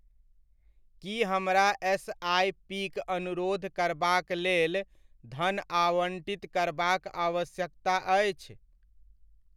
की हमरा एसआइपीक अनुरोध करबाक लेल धन आवण्टित करबाक आवश्यकता अछि?